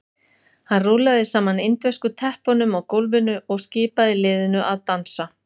Hann rúllaði saman indversku teppunum á gólfinu og skipaði liðinu að dansa.